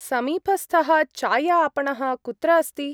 समीपस्थः चाय-आपणः कुत्र अस्ति?